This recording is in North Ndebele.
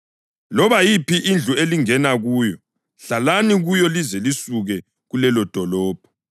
Loba yiphi indlu elingena kuyo, hlalani kuyo lize lisuke kulelodolobho.